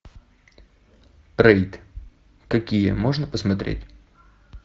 рейд какие можно посмотреть